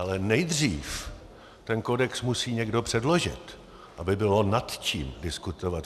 Ale nejdřív ten kodex musí někdo předložit, aby bylo nad čím diskutovat.